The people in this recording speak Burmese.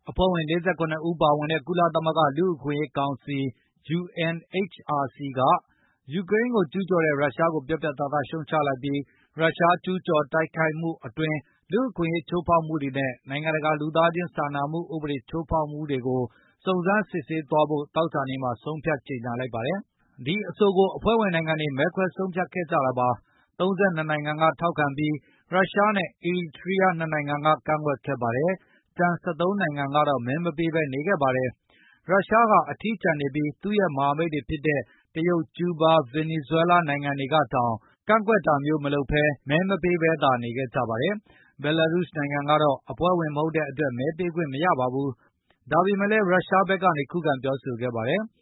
အဖွဲ့ဝင် ၄၇ ဦးပါဝင်တဲ့ ကုလသမဂ္ဂလူ့အခွင့်အရေးကောင်စီ UNHRC က၊ ယူကရိန်းကိုကျူးကျော်တဲ့ ရုရှားကိုပြတ်ပြတ်သားသားရှုံချလိုက်ပြီး၊ ရုရှား ကျူးကျော်တိုက်ခိုက်မှုအတွင်း လူ့အခွင့်အရေးချိုးဖေါက်မှုတွေ နဲ့ နိုင်ငံတကာ လူသားခြင်းစာနာမှုဥပဒေတွေ ချိုးဖေါက်တာတွေကို စုံစမ်းစစ်ဆေးသွားဖို့ သောကြာနေ့က ဆုံးဖြတ်ကြေညာလိုက်ပါတယ်။ ဒီအဆိုကိုအဖွဲ့ဝင်နိုင်ငံတွေ မဲခွဲဆုံးဖြတ်ခဲ့ကြတာပါ။ ၃၂ နှစ်နိုင်ငံကထောက်ခံပြီး၊ ရုရှားနဲ့ အီရီကြီးယား ၂ နိုင်ငံကကန့်ကွက်ခဲ့ပါတယ်။ ကျန် ၁၃ နိုင်ငံက တော့မဲမပေးဘဲနေခဲ့ပါတယ်။ ရုရှားဟာအထီးကျန်နေပြီး၊ သူရဲ့မဟာမိတ်တွေဖြစ်တဲ့ တရုတ်၊ ကျူးဘား၊ ဗင်နီဇွဲလားနိုင်ငံတွေကတောင် ကန် ကွက်တာမျိုးမလုပ်ဘဲ၊ မဲမပေးဘဲသာနေခဲ့ ကြပါတယ်။ ဘဲလာရုစ်နိုင်ငံကတော့ အဖွဲဝင်မဟုတ်တဲ့အတွက် မဲပေးခွင့်မရပါဘူး။ ဒါပေမယ့် ရုရှားဘက်ကနေ ခုခံပြောဆိုခဲ့ပါတယ်။